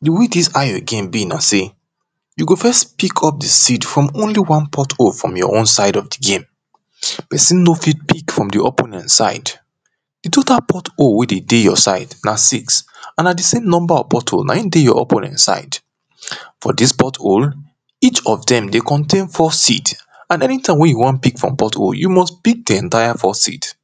The way this ayo game dey be say, you go fes pick up the seed from only one porthole from your own side of the game, persin no fit pick from the opponent side, the total porthole wey dey dey your side na six and na the same porthole na in dey your opponent side. For this porthole each of them dey contain four seed, and anytime wey you wan pick from porthole you must pick the entire four seeds.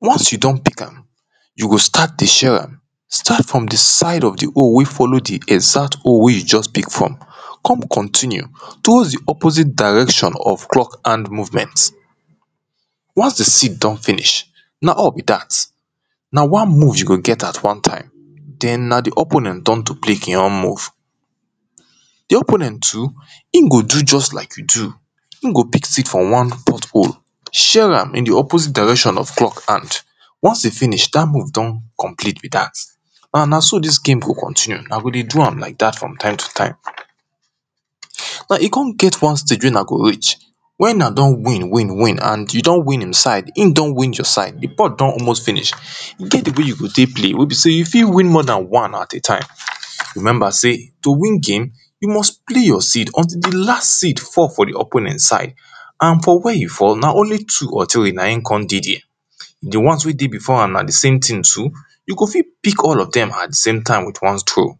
Once you don pick am you go start dey share start from the side of the hole wey follow dey exact hole wey you just pick from come continue towards the opposite direction of clock hand movement, once the seed don finish, na all be dat. Na one move you go get at one time then na the opponent turn to play in own move the opponent too, in go do just like you do, in go pick seed from one hole share am in the opposite direction of clock ant once e finish that move don complete be that una go dey do am like that from time to time now e come get one stage wey una go reach, when una don win, win, win and you don win im side him don win your side the port don almost finish finish e get the way you go take play wey be say you fit win more than one at same time, remember say to win game until the last seed fall for the opponent side and for where e fall na only two or three na in come dey there the once wey dey before am na the same thing so you go fit pick all of them at the sametime with one throw.